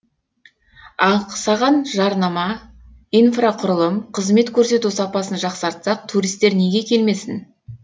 ақсаған жарнама инфрақұрылым қызмет көрсету сапасын жақсартсақ туристер неге келмесін